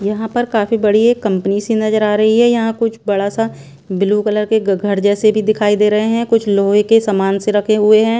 यहाँ पर काफी बड़ी एक कंपनी सी नजर आ रही है यहाँ कुछ बड़ा सा ब्लू कलर के ग घर जैसे भी दिखाई दे रहे हैं कुछ लोहे के सामान से रखे हुए हैं।